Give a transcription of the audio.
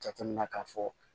Jateminɛ k'a fɔ